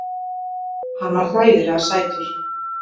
Hann var hræðilega sætur!